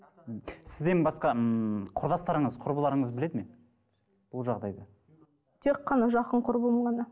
мхм сізден басқа ммм құрдастарыңыз құрбыларыңыз біледі ме бұл жағдайды тек қана жақын құрбым ғана